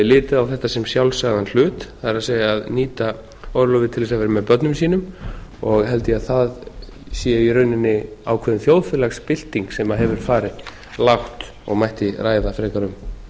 litið á þetta sem sjálfsagðan hlut það er að nýta orlofið til þess að vera með börnum sínum og held ég að það sé í rauninni ákveðin þjóðfélagsbylting sem hefur farið lágt og mætti ræða frekar um